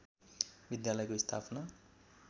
विद्यालयको स्थापना